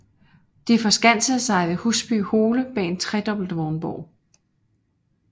De forskansede sig ved Husby Hole bag en tredobbelt vognborg